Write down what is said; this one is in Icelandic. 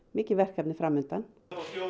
mikið verkefni fram undan